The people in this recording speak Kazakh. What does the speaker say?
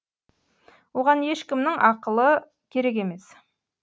оған ешкімнің ақылы керек емес